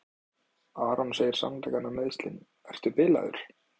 Aron segir sannleikann um meiðslin: Ertu bilaður?